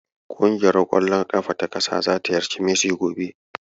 Ƙungiuaf ƙwallon ƙafa ta ƙasa zata ziyarci Messi gobe.